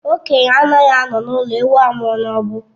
Okenye anaghị anọ n'ụlọ ewu amụọ n'ọgbụ